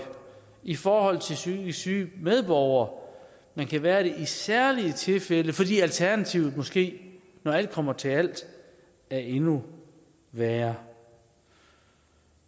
i forhold til psykisk syge medborgere men kan være det i særlige tilfælde fordi alternativet måske når alt kommer til alt er endnu værre